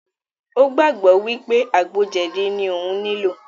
Ó gbàgbọ́ wípé àgbo jẹ̀dí ní òún nilò.